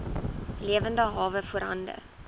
lewende hawe voorhande